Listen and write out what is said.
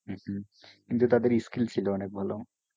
হম হম কিন্তু তাদের skill ছিল অনেক ভালো